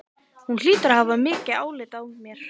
Hún hlýtur að hafa mikið álit á mér.